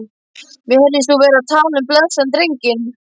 Mér heyrðist þú vera að tala um blessaðan drenginn.